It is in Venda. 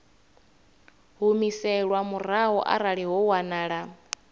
humiselwa murahu arali ho wanala